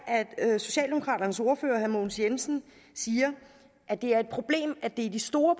at socialdemokraternes ordfører herre mogens jensen siger at det er et problem at det er de store